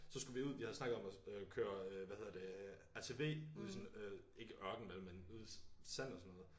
Så skulle vi ud vi havde snakket om at øh køre øh hvad hedder det ATV ude i sådan øh ikke ørken vel men ud i sand og sådan noget